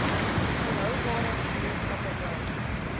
volhoubare gemeenskappe bou